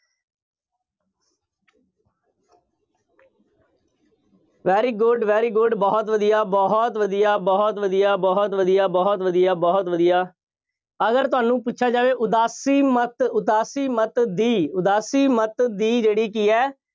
very good, very good ਬਹੁਤ ਵਧੀਆ, ਬਹੁਤ ਵਧੀਆ, ਬਹੁਤ ਵਧੀਆ, ਬਹੁਤ ਵਧੀਆ, ਬਹੁਤ ਵਧੀਆ, ਬਹੁਤ ਵਧੀਆ। ਅਗਰ ਤੁਹਾਨੂੰ ਪੁੱਛਿਆ ਜਾਵੇ, ਉਦਾਸੀ ਮੱਤ, ਉਦਾਸੀ ਮੱਤ ਦੀ, ਉਦਾਸੀ ਮੱਤ ਦੀ ਜਿਹੜੀ ਕੀ ਹੈ।